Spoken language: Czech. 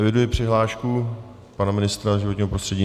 Eviduji přihlášku pana ministra životního prostředí?